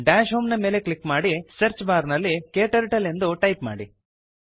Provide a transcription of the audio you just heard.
dash homeನ ಮೇಲೆ click ಮಾಡಿ ಸರ್ಚ್ ಬಾರ್ ನಲ್ಲಿ ಕ್ಟರ್ಟಲ್ ಎಂದು ಟೈಪ್ ಮಾಡಿ